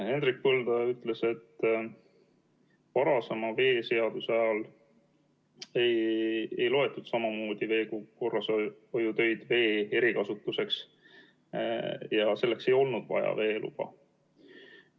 Hendrik Põldoja ütles, et varasema veeseaduse ajal ei loetud samamoodi veekorrashoiutöid vee erikasutuseks ja selleks ei olnud vaja veeluba.